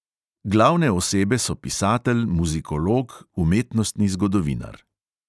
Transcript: Glavne osebe so pisatelj, muzikolog, umetnostni zgodovinar.